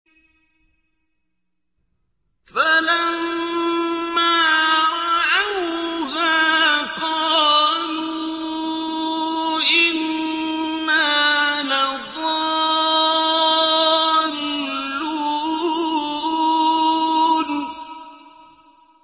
فَلَمَّا رَأَوْهَا قَالُوا إِنَّا لَضَالُّونَ